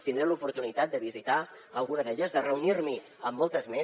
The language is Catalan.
tindré l’oportunitat de visitar ne alguna de reunir me amb moltes més